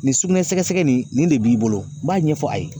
Nin sugunɛ sɛgɛsɛgɛ nin de b'i bolo n m'a ɲɛfɔ a ye